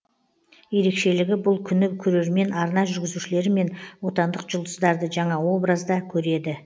ерекшелігі бұл күні көрермен арна жүргізушілері мен отандық жұлдыздарды жаңа образда көреді